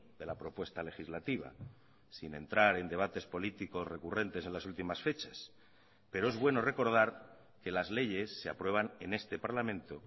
de la propuesta legislativa sin entrar en debates políticos recurrentes en las últimas fechas pero es bueno recordar que las leyes se aprueban en este parlamento